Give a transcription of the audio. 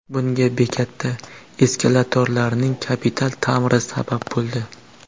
Bunga bekatda eskalatorlarning kapital ta’miri sabab bo‘ldi.